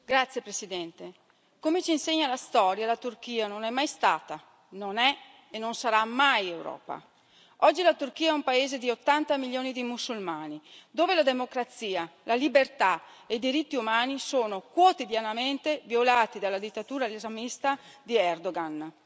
Signor Presidente, onorevoli colleghi, come ci insegna la storia la Turchia non è mai stata, non è e non sarà mai Europa. Oggi la Turchia è un paese di 80 milioni di musulmani, dove la democrazia, la libertà e i diritti umani sono quotidianamente violati dalla dittatura islamista di Erdoğan.